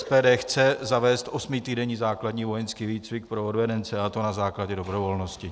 SPD chce zavést osmitýdenní základní vojenský výcvik pro odvedence, a to na základě dobrovolnosti.